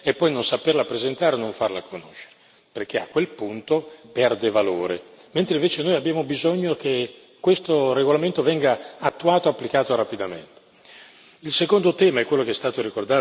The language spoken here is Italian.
Non c'è niente di peggio che fare una cosa giusta e poi non saperla presentare e non farla conoscere, perché a quel punto perde valore, mentre invece noi abbiamo bisogno che questo regolamento venga attuato applicato rapidamente.